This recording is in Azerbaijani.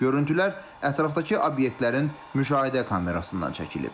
Görüntülər ətrafdakı obyektlərin müşahidə kamerasından çəkilib.